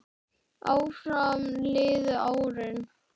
Áfram liðu árin.